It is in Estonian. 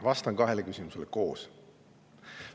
" Vastan kahele küsimusele koos.